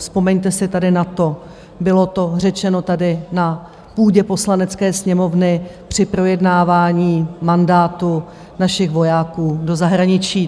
Vzpomeňte si tady na to, bylo to řečeno tady na půdě Poslanecké sněmovny při projednávání mandátu našich vojáků do zahraničí.